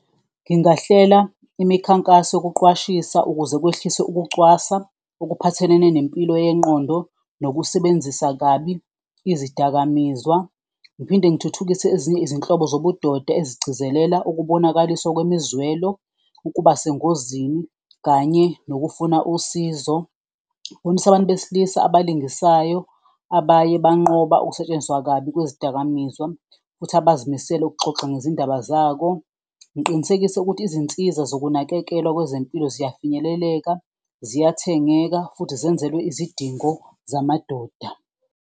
Ngingahlela imikhankaso yokuqwashisa ukuze kwehliswe ukucwasa okuphathelene nempilo yengqondo nokusebenzisa kabi izidakamizwa, ngiphinde ngithuthukise ezinye izinhlobo zobudoda ezigcizelela ukubonakaliswa kwemizwelo, ukuba sengozini kanye nokufuna usizo. Ngibonise abantu besilisa abalingisayo abaye banqoba ukusetshenziswa kabi kwezidakamizwa futhi abazimele ukuxoxa ngezindaba zako, ngiqinisekise ukuthi izinsiza zokunakekelwa kwezempilo ziyafinyeleleka, ziyathengeka futhi zenzelwe izidingo zamadoda.